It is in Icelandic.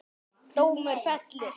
Dómur fellur